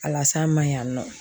A lase an ma yan nɔ